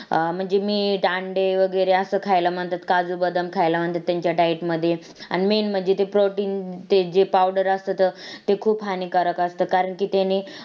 अं म्हणजे meat अंडे वैगरे अस खायला म्हणतात काजू, बदाम खायला म्हणतात त्यांच्या diet मध्ये अन main म्हणजे ते protein ते जे powder त ते खूप हानिकारक असत कारणिक त्यानी